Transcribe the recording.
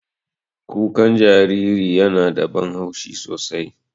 Kuka jariri yana da ban haushi sosai.